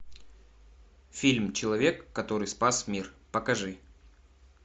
фильм человек который спас мир покажи